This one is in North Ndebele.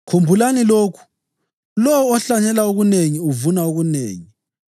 Khumbulani lokhu: Lowo ohlanyela okunengi uvuna okunengi.